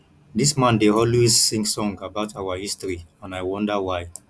dis man dey always sing song about our history and i wonder why